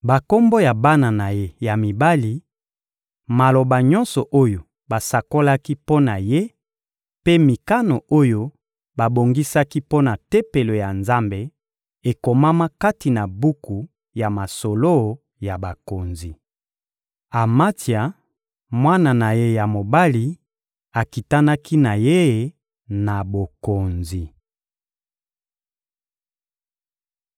Bakombo ya bana na ye ya mibali, maloba nyonso oyo basakolaki mpo na ye mpe mikano oyo babongisaki mpo na Tempelo ya Nzambe ekomama kati na buku ya masolo ya bakonzi. Amatsia, mwana na ye ya mobali, akitanaki na ye na bokonzi.